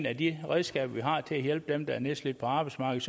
af de redskaber vi har til at hjælpe dem der er nedslidt på arbejdsmarkedet